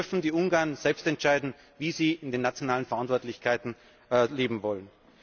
Das dürfen die Ungarn selbst entscheiden, wie sie in den nationalen Verantwortlichkeiten leben wollen.